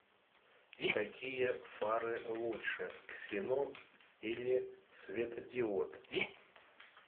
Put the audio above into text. какие фары лучше ксенон или светодиод